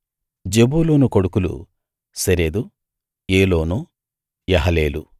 జెబూలూను కొడుకులు Sered Elon యహలేలు